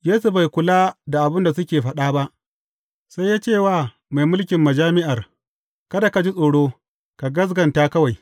Yesu bai kula da abin da suka faɗa ba, sai ya ce wa mai mulkin majami’ar, Kada ka ji tsoro, ka gaskata kawai.